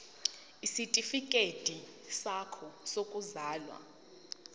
isitifikedi sakho sokuzalwa